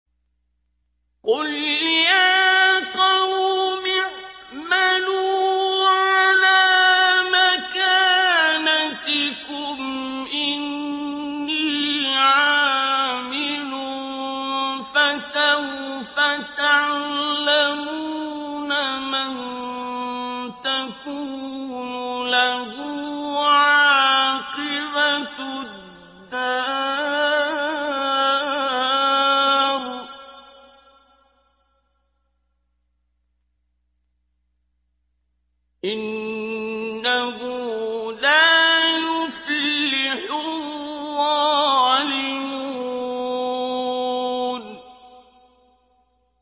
قُلْ يَا قَوْمِ اعْمَلُوا عَلَىٰ مَكَانَتِكُمْ إِنِّي عَامِلٌ ۖ فَسَوْفَ تَعْلَمُونَ مَن تَكُونُ لَهُ عَاقِبَةُ الدَّارِ ۗ إِنَّهُ لَا يُفْلِحُ الظَّالِمُونَ